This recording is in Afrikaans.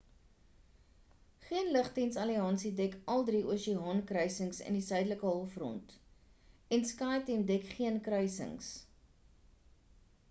geen lugdiens alliansie dek al drie oseaan kruisings in die suidelike halfrond en skyteam dek geen kruisings